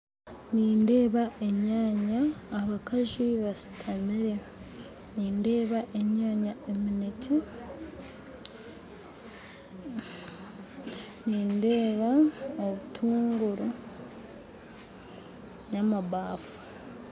Nindeeba enyaanya abakazi bashutamire nindeeba enyaanya emineekye nindeeba obutuunguru n'amabaafu